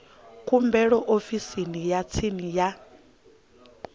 khumbelo ofisini ya tsini ya